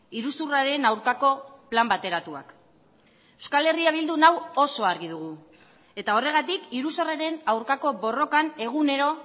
iruzurraren aurkako plan bateratuak euskal herria bildun hau oso argi dugu eta horregatik iruzurraren aurkako borrokan egunero